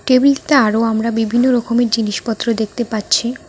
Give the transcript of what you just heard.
টেবিলটা আরও আমরা বিভিন্ন রকমের জিনিসপত্র দেখতে পাচ্ছি।